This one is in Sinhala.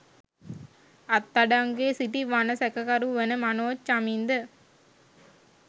අත්අඩංගුවේ සිටි වන සැකකරු වන මනෝජ් චමින්ද